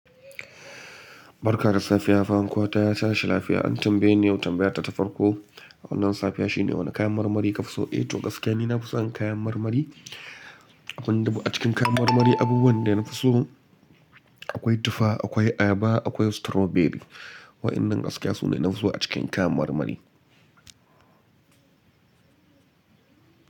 Barka da safiya fankwatashi lafiya. An tambaye ni yau tambaya ta ta farko. Wannan safiya shine wane kayan marmari ka fi so? Eh to gaskiya ne na fi son kayan marmari. Abin da a cikin kayan marmari, abubuwan da na fi so akwai tufa, akwai ayaba, akwai strawberry. Wayannan gaskiya su ne na fi so a cikin kayan marmari.